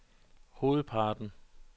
hovedparten